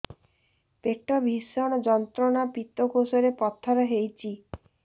ପେଟ ଭୀଷଣ ଯନ୍ତ୍ରଣା ପିତକୋଷ ରେ ପଥର ହେଇଚି